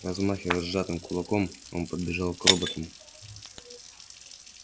размахивая сжатым кулаком он подбежал к роботам